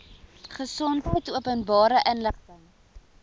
gesondheid openbare inligting